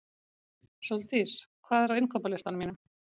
Sóldís, hvað er á innkaupalistanum mínum?